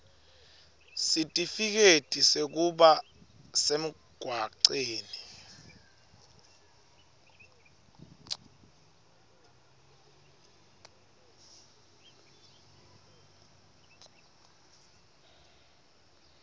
sitifiketi sekuba semgwaceni